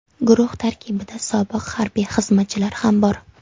Guruh tarkibida sobiq harbiy xizmatchilar ham bor.